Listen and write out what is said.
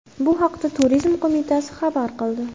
Bu haqda Turizm qo‘mitasi xabar qildi .